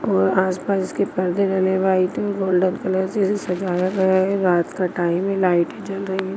और आस-पास इसके पर्दे डले वाइट और गोल्डन कलर इसे सजाया गया हैं रात का टाइम हैं लाइटे जल रही हैं।